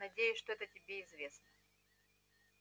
надеюсь что это тебе известно